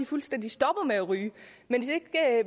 fuldstændig stopper med at ryge men